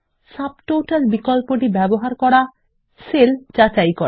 subtotal বিকল্পটি ব্যবহার করা সেল যাচাই করা